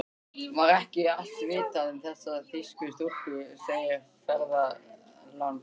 Var ekki allt vitað um þessar þýsku stúlkur, segir ferðalangur.